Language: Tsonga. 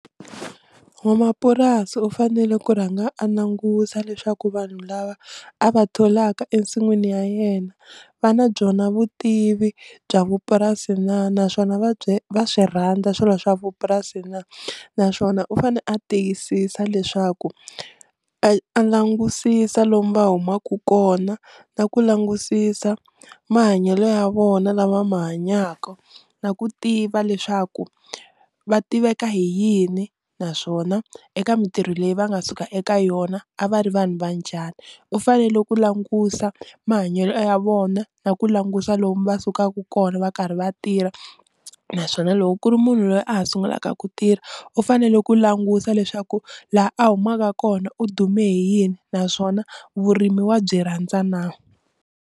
N'wamapurasi u fanele ku rhanga a langusa leswaku vanhu lava a va tholaka ensin'wini ya yena va na byona vutivi bya vupurasi na naswona va byi va swi rhandza swilo swa vupurasi na, naswona u fane a tiyisisa leswaku a a langusisa lomu va humaka kona na ku langusisa mahanyelo ya vona lava ma hanyaka, na ku tiva leswaku va tiveka hi yini naswona eka mintirho leyi va nga suka eka yona a va ri vanhu va njhani, u fanele ku langusa mahanyelo ya vona na ku langusa lomu va sukaka kona va karhi va tirha naswona loko ku ri munhu loyi a ha sungulaka ku tirha u fanele ku langusa leswaku laha a humaka kona u dume hi yini naswona vurimi wa byi rhandza na.